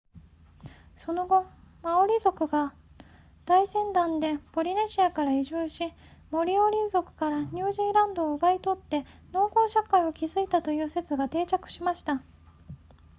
その後マオリ族が大船団でポリネシアから移住しモリオーリ族からニュージーランドを奪い取って農耕社会を築いたという説が定着しました